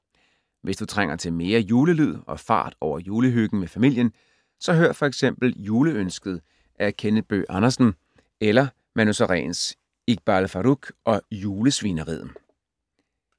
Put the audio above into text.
Hvis du trænger til mere julelyd og fart over julehyggen med familien, så hør f.eks. Juleønsket af Kenneth Bøgh Andersen eller Manu Sareens Iqbal Farooq og julesvineriet.